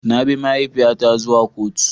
Na bi mahaifiyata zuwa kotu.